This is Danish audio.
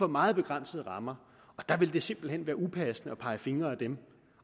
meget begrænsede rammer og der vil det simpelt hen være upassende at pege fingre ad dem